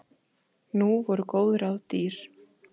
Nú voru góð ráð dýr